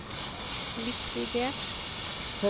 likvidert